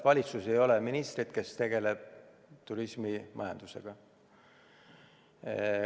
Valitsuses ei ole ministrit, kes tegeleks turismimajandusega.